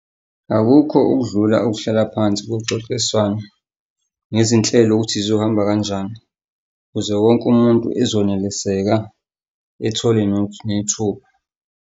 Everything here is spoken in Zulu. Akukho okudlula ukuhlala phansi kuxoxiswane ngezinhlelo ukuthi zizohamba kanjani ukuze wonke umuntu ezoneliseka ethole nethuba.